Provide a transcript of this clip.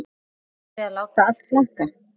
Þorði að láta allt flakka.